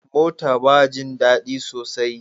Mota ba jin dadi sosai.